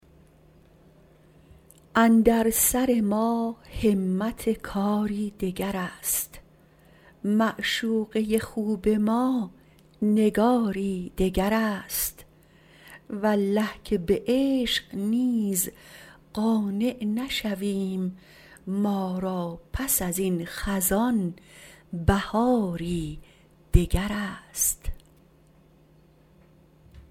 اندر سر ما همت کاری دگر است معشوقه خوب ما نگاری دگر است والله که بعشق نیز قانع نشویم ما را پس از این خزان بهاری دگر است